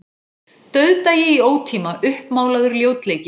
Já, það er nú ekkert dularfullt við það, sagði sá rauðhærði.